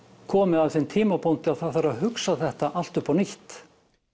komið að þeim tímapunkti að það þarf að hugsa þetta allt upp á nýtt